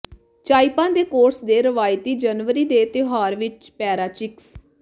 ਚਾਈਪਾ ਦੇ ਕੋਰਸ ਦੇ ਰਵਾਇਤੀ ਜਨਵਰੀ ਦੇ ਤਿਉਹਾਰ ਵਿਚ ਪੈਰਾਚਿਕਸ